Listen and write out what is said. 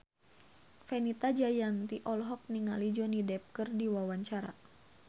Fenita Jayanti olohok ningali Johnny Depp keur diwawancara